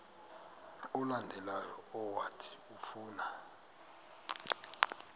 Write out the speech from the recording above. olandelayo owathi ufuna